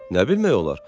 Nə bilmək olar?